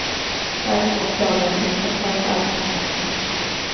Däremot klagar ingen på hans arbetsförmåga.